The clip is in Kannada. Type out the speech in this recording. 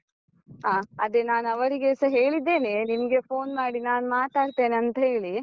ಹಾ ಅದೆ ನಾನ್ ಅವರಿಗೆಸ ಹೇಳಿದ್ದೇನೆ, ನಿಮ್ಗೆ phone ಮಾಡಿ ನಾನ್ ಮಾತಾಡ್ತೇನೆ ಅಂತ ಹೇಳಿ.